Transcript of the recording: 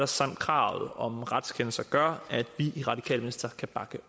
samt kravet om retskendelser gør at vi i radikale venstre kan bakke